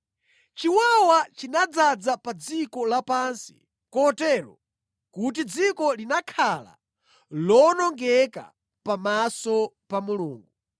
Chiwawa chinadzaza pa dziko lapansi kotero kuti dziko linakhala lowonongeka pamaso pa Mulungu.